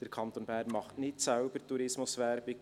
Der Kanton Bern macht nicht selbst Tourismuswerbung.